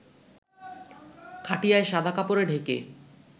খাটিয়ায় শাদা কাপড়ে ঢেকে